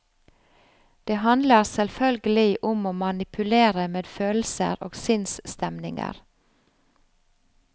Det handler selvfølgelig om å manipulere med følelser og sinnsstemninger.